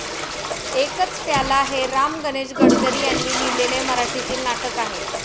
एकच प्याला हे राम गणेश गडकरी यांनी लिहिलेले मराठीतील नाटक आहे.